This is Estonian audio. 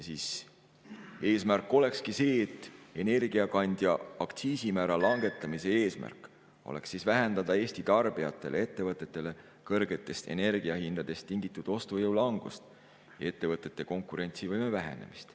Eesmärk olekski see, energiakandja aktsiisimäära langetamise eesmärk olekski vähendada kõrgetest energiahindadest tingitud Eesti tarbijate ostujõu langust ja ettevõtete konkurentsivõime vähenemist.